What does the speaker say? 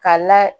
K'a la